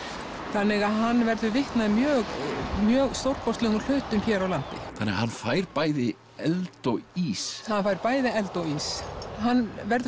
þannig að hann verður vitni að mjög mjög stórkostlegum hlutum hér á landi þannig að hann fær bæði eld og ís hann fær bæði eld og ís hann verður